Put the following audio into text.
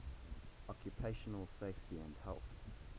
occupational safety and health